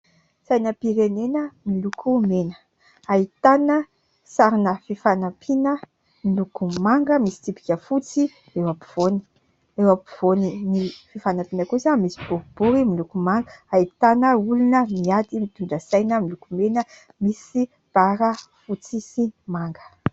Sainam-pirenena miloko mena. Ahitana sarina fifanampiana miloko manga misy tsipika fotsy eo ampovoany. Eo ampovoan'ny fifanampiana kosa misy boribory miloko manga, ahitana olona miady mitondra saina miloko mena, misy bara fotsy sy manga.